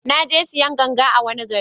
Na je sayan ganga a wani gari